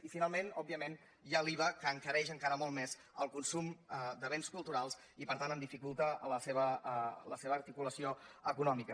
i finalment òbviament hi ha l’iva que encareix encara molt més el consum de béns culturals i per tant dificulta la seva articulació econòmica